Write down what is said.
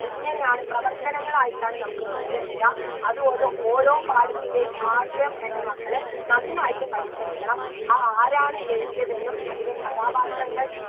ഇങ്ങനെയാണ് പ്രവർത്തനങ്ങളായിട്ടാണ് നമുക്ക് ചോദ്യം വരിക അത്കൊണ്ട് ഓരോ പാഠത്തിൻറെയും ആശയം എൻറെ മക്കള് നന്നായിട്ട് പഠിച്ചിരിക്കണം ആ ആരാണ് എഴുതിയതെന്നും അതിലെ കഥാപാത്രങ്ങൾ